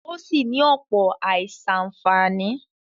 Ó sì ní ọ̀pọ̀ àìsàǹfàní.